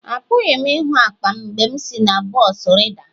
Apụghị m ịhụ akpa m mgbe m si na bọs rida.